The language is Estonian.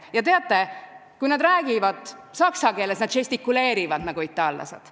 Ja teate, kui nad räägivad saksa keeles, siis nad žestikuleerivad nagu itaallased.